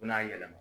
U bɛn'a yɛlɛma